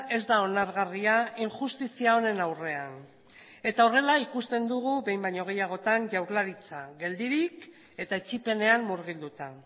ez da onargarria injustizia honen aurrean eta horrela ikusten dugu behin baino gehiagotan jaurlaritza geldirik eta etsipenean murgilduta